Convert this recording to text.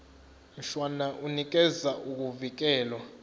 mshwana unikeza ukuvikelwa